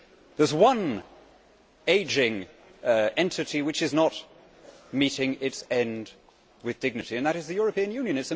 There is one ageing entity which is not meeting its end with dignity, and that is the European Union.